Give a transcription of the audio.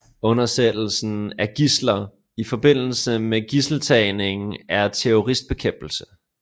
Undsættelse af gidsler i forbindelse med gidseltagninger og terroristbekæmpelse